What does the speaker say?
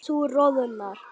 Þú roðnar.